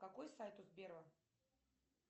какой сайт у сбера